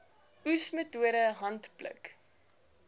oes metode handpluk